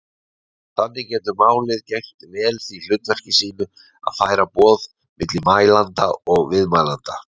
Þannig getur málið gegnt vel því hlutverki sínu að færa boð milli mælanda og viðmælanda.